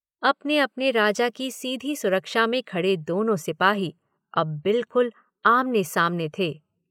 अपने-अपने राजा की सीधी सुरक्षा में खड़े दोनों सिपाही अब बिल्कुल आमने-सामने थे।